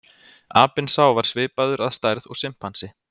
apinn sá var svipaður að stærð og simpansi